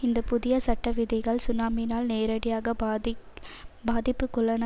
இந்த புதிய சட்ட விதிகள் சுனாமினால் நேரடியாக பாதி பாதிப்புக்குள்ளான